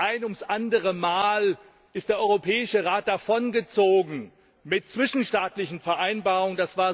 Ein ums andere Mal ist der Europäische Rat davongezogen mit zwischenstaatlichen Vereinbarungen.